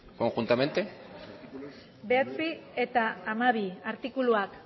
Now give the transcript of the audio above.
conjuntamente bederatzi eta hamabi artikuluak